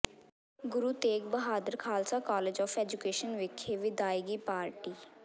Guru Tegh Bahadur Khalsa College of Education ਵਿਖੇ ਵਿਦਾਇਗੀ party